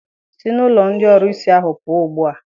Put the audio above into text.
Sị n'ụlọ ndị ọrusi ahụ pụọ ugbu a!